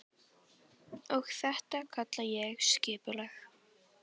Og þetta kalla ég skipulag.